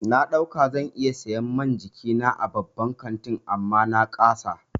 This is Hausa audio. Na ɗauka zan iya siyan man jikina a babban kantin amma na ƙasa.